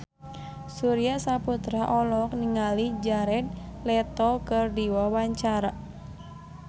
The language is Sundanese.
Surya Saputra olohok ningali Jared Leto keur diwawancara